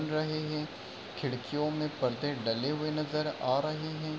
रहे हैं | खिड़कियों में पर्दे डले हुए नजर आ रहे हैं।